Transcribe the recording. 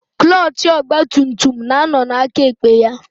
Klọchị ọgbatumtum na-ánọ̀ n'akaekpe ya.